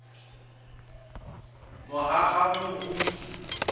mohahamoriti